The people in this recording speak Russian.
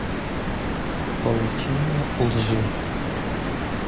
паутина лжи